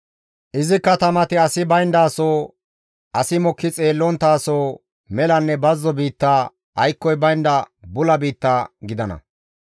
Izi katamati asi bayndaso, asi mokki xeellonttaso, melanne bazzo biitta, aykkoy baynda bula biitta gidana.